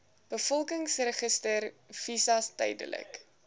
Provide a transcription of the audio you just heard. bevolkingsregister visas tydelike